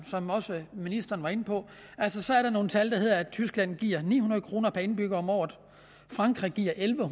som også ministeren var inde på at tyskland giver ni hundrede kroner per indbygger om året frankrig giver elleve